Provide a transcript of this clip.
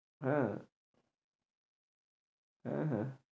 হ্যাঁ হ্যাঁ হ্যাঁ